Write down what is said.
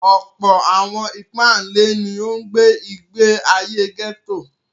Ọ̀pọ̀ àwọn ìpáǹle ni ó gbé ìgbé ayé gẹ́tò.